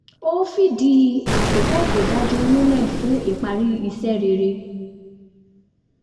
ó fìdí àkókò to dájú múlẹ̀ fún ìparí iṣẹ́ rere